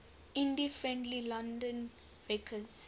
indie friendly london records